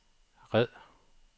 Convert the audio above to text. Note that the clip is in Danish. red